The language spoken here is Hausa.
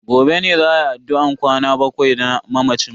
Gobe ne za ayi addu'an kwana bakwai na mamacin.